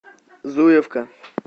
зуевка